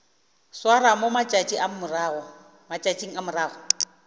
swarwa mo matšatšing a morago